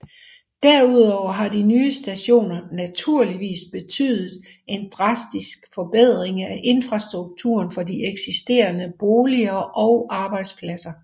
Derudover har de nye stationer naturligvis betydet en drastisk forbedring af infrastrukturen for de eksisterende boliger og arbejdspladser